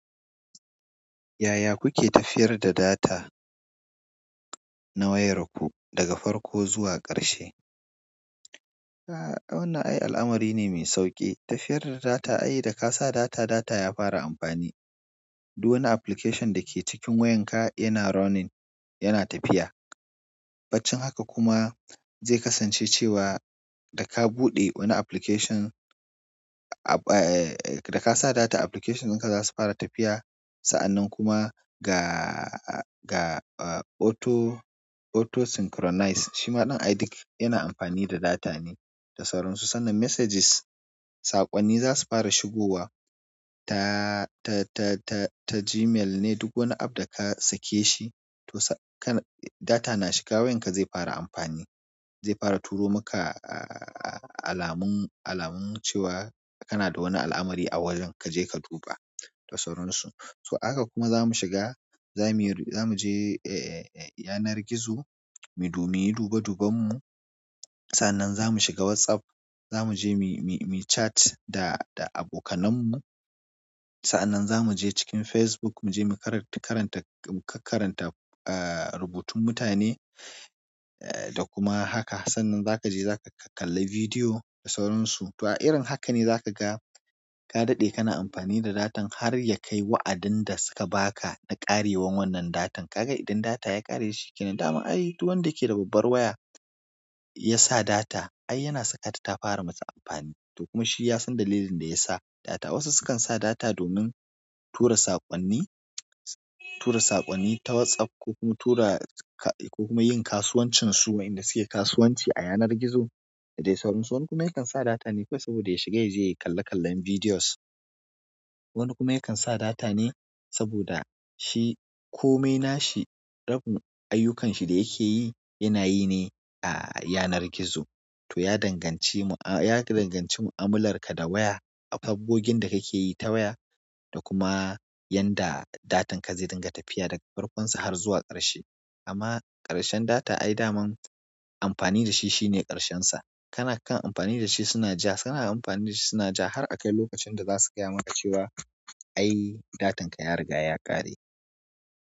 Yaya kuke tafiyar da data na wayar ku daga farko zuwa ƙarshe? A wannan ai al'amari ne mai sauƙi. Tafiyar da data, ai da ka sa data, data ya fara amfani. Duk wani application da ke cikin wayanka yana running, yana tafiya. Baccin haka kuma zai kasance cewa da ka buɗe wani application, a e da ka sa data application ɗin ka za su fara tafiya. Saanan kuma ga a auto auto sinkronize shi ma ɗan ai dik yana amfani da data ne da sauransu. Sannan messages saƙonni zasu fara shigowa ta ta ta ta ta gmail ne duk wani app da ka sake shi to sa kana data na shiga wayan ka zai fara amfani. Zai fara turo maka a alamun, alamun cewa kana da wani al'amari a wajen ka je ka duba da sauransu. To haka kuma za mu shiga, za mu, za mu je e yanar gizo mu, mu yi do mu yi dube duben mu. Sanan zamu shiga wassup za mu je muyi chat da abokanmu. Sa'annan za mu je cikin Facebook mu je mu karat karanta, mu kakkaranta eh rubutun mutane e da kuma haka. Sannan za ka je za ka kakkalli vidiyo da sauransu. To a irin haka ne za ka ga ka daɗe kana amfani da datan har ya kai wa'adin da suka ba ka na ƙarewan wannan datan. Ka ga idan data ya ƙare shi kenan. Daman ai duk wanda ke da babbar waya ya sa data ai yana saka ta ta fara masa amfani. To kuma shi ya san dalilin da ya sa data. Wasu sukan sa data domin tura saƙonni, tura saƙonni ta WhatsApp ko kuma tura ka ko kuma yin kasuwancin su wainda suke kasuwanci a yanar gizo da dai sauransu. Wani kuma yakan sa data ne kawai saboda ya shiga ya je yayi kalle kallen bidiyos. Wani kuma yakan sa data ne saboda shi ko mai na shi rabin ayyukanshi da yake yi yana yi ne a yanar gizo. To ya danganci mu'a, ya danganci mu'amular ka da waya, sabogin da kake yi ta waya da kuma yanda datan ka zai dinga tafiya daga farkonsa har zuwa ƙarshe. Amma ƙarshen data ai daman amfani da shi shi ne ƙarshen sa kana kan amfani da shi suna ja, suna amfani da shi suna ja har akai lokacin da za su gaya maka cewa ai datan ka ya riga ya ƙare.